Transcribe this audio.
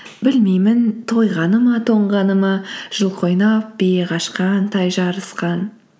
білмеймін тойғаны ма тоңғаны ма жылқы ойнап бие қашқан тай жарысқан